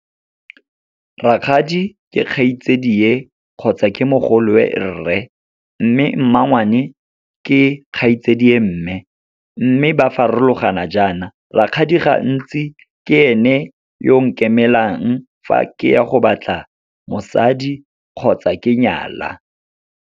Rakgadi ke kgaitsadie kgotsa ke mogolowe rre. Mme mmangwane, ke kgaitsadie mme. Mme ba farologana jaana, rakgadi gantsi ke ene yo nkemelang fa ke ya go batla mosadi kgotsa ke nyala.